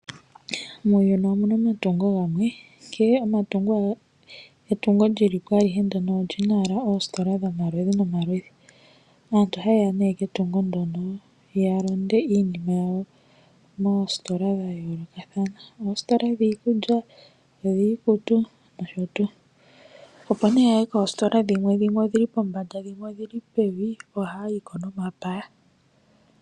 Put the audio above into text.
Muuyuni omu na omatungo gamwe, nkene owala etungo li li po oli na owala oositola dhomaludhi nomaludhi. Aantu ohaye ya nduno ketungo ndyono ya lande iinima yawo moositola dha yoolokathana, oositola dhiikulya, dhiikutu nosho tuu. Opo nduno ya ye koositola dhimwe, ndhoka dhi li pombanda nenge pevi ohaya yi po nomapaya.